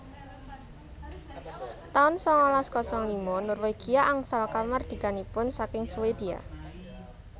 taun sangalas kosong lima Norwegia angsal kamardikanipun saking Swedia